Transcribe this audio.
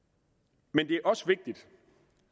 men det er også vigtigt